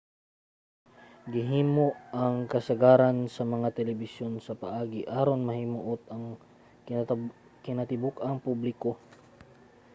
gihimo ang kasagaran sa mga telebisyon sa paagi aron mahimuot ang kinatibuk-ang publiko